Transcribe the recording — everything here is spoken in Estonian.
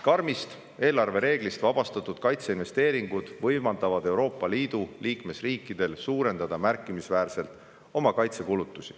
Karmist eelarvereeglist vabastatud kaitseinvesteeringud võimaldavad Euroopa Liidu riikidel oma kaitsekulutusi märkimisväärselt suurendada.